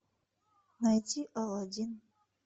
найти аладдин